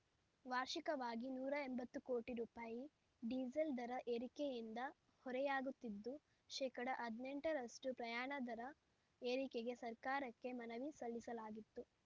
ವಾರ್ಷಿಕವಾಗಿ ನೂರ ಎಂಬತ್ತು ಕೋಟಿ ರೂಪಾಯಿ ‌ಡೀಸೆಲ್ ದರ ಏರಿಕೆಯಿಂದ ಹೊರೆಯಾಗುತ್ತಿದ್ದು ಶೇಕಡಾ ಹದನೆಂಟರಷ್ಟು ಪ್ರಯಾಣ ದರ ಏರಿಕೆಗೆ ಸರ್ಕಾರಕ್ಕೆ ಮನವಿ ಸಲ್ಲಿಸಲಾಗಿತ್ತು